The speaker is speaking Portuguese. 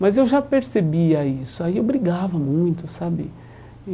Mas eu já percebia isso, aí eu brigava muito, sabe? E